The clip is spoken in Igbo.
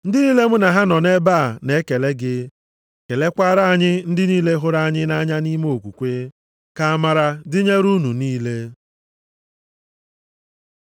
Ndị niile mụ na ha nọ nʼebe a na-ekele gị. Kelekwara anyị ndị niile hụrụ anyị nʼanya nʼime okwukwe. Ka amara dịnyere unu niile.